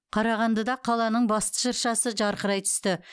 қарағандыда қаланың басты шыршасы жарқырай түсті